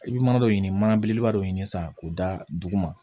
I bɛ mana dɔ ɲini mana belebeleba dɔ ɲini sisan k'o da dugu ma